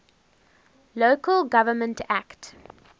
local government act